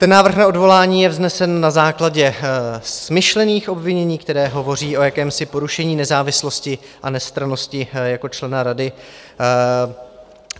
Ten návrh na odvolání je vznesen na základě smyšlených obvinění, která hovoří o jakémsi porušení nezávislosti a nestrannosti jako člena rady.